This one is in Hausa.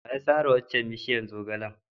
Wa ya sare waccan bishiyar zogalen?